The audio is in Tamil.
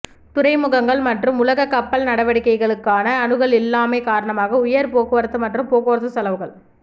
துறைமுகங்கள் மற்றும் உலக கப்பல் நடவடிக்கைகளுக்கான அணுகல் இல்லாமை காரணமாக உயர் போக்குவரத்து மற்றும் போக்குவரத்து செலவுகள்